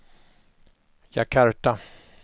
Jakarta